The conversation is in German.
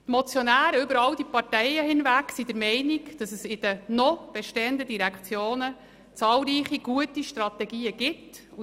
Die Motionäre über alle Parteien hinweg sind der Meinung, dass in den noch bestehenden Direktionen zahlreiche gute Strategien vorhanden sind.